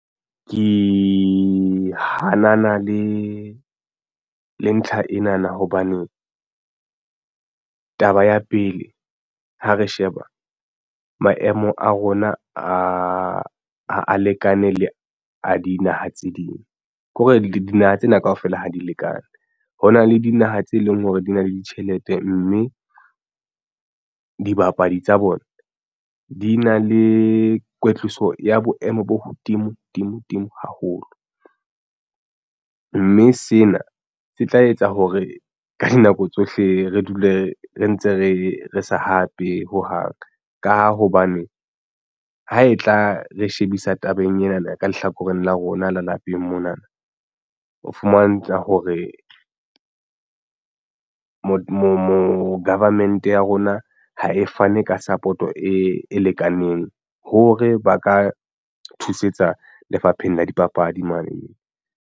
Ke hanana le ntlha ena na hobane taba ya pele ha re sheba maemo a rona a a lekane le a dinaha tse ding ke hore dinaha tsena kaofela ha di lekane. Ho na le dinaha tse leng hore di na le ditjhelete mme dibapadi tsa bona di na le kwetliso ya boemo bo hodimo dimo dimo haholo mme sena se tla etsa hore ka dinako tsohle re dule re ntse re sa hape ho hang ka hobane ha e tla re shebisa tabeng ena na ka lehlakoreng la rona le lapeng mona na ho fumantsha hore moo government ya rona ha e fane ka support-o e lekaneng hore ba ka thusetsa Lefapheng la Dipapadi mane.